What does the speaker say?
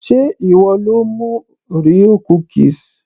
sé ìwọ lo mú orea cookies